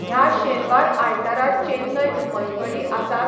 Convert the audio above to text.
ह्या शेनवार आयतारा चेन्नयंत मैफली आसात?